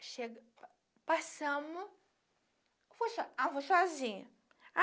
chegamo. Passamos... Ah, eu vou sozinha.